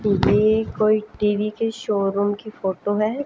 ये कोई टी_वी के शोरूम की फोटो है।